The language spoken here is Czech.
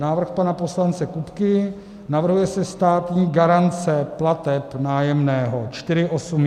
Návrh pana poslance Kupky, navrhuje se státní garance plateb nájemného.